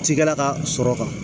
Cikɛla ka sɔrɔ kan